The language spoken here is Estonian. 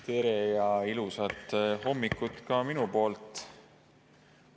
Tere ja ilusat hommikut ka minu poolt!